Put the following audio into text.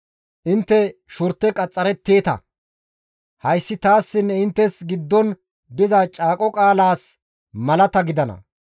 Intte shurte qaxxaretteeta; hayssi taassinne inttes giddon diza caaqo qaalaas malata gidana.